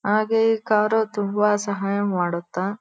ಹಾಗೆ ಕಾರು ತುಂಬ ಸಹಾಯ ಮಾಡುತ.